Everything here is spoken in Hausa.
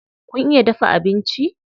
Kun iya dafa abinci?